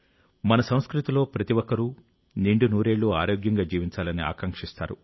మన సంస్కృతిలో ప్రతి ఒక్కరూ నిండు నూరేళ్లు ఆరోగ్యంగా జీవించాలని ఆకాంక్షిస్తారు